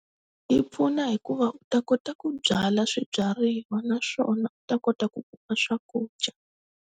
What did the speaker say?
Yi pfuna hikuva u ta kota ku byala swibyariwa naswona u ta kota ku kuma swakudya.